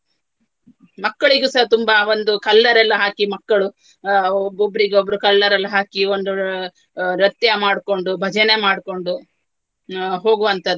ಮಕ್ಕಳಿಗೂಸ ತುಂಬಾ ಒಂದು colour ಎಲ್ಲಾ ಹಾಕಿ ಮಕ್ಕಳು ಅಹ್ ಒಬ್~ ಒಬ್ರಿಗೊಬ್ಬರು colour ಎಲ್ಲಾ ಹಾಕಿ ಒಂದು ಅಹ್ ನೃತ್ಯ ಮಾಡ್ಕೊಂಡು ಭಜನೆ ಮಾಡ್ಕೊಂಡು ಅಹ್ ಹೋಗುವಂತದ್ದು.